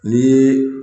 Ni